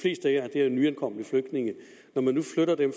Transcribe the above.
er jo nyankomne flygtninge og når man nu flytter dem